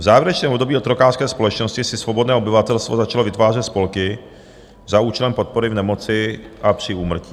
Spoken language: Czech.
V závěrečném období otrokářské společnosti si svobodné obyvatelstvo začalo vytvářet spolky za účelem podpory v nemoci a při úmrtí.